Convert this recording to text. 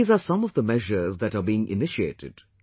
These are some of the measures that are being initiated